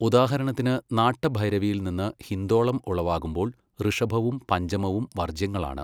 ഉദാഹരണത്തിന് നാട്ടഭൈരവിയിൽനിന്ന് ഹിന്ദോളം ഉളവാകുമ്പോൾ ഋഷഭവും പഞ്ചമവും വർജ്യങ്ങളാണ്.